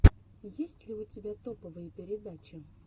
есть ли у тебя топовые передачи